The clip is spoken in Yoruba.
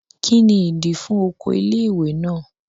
Kí ni ìdí i fún oko ilé ìwé náà?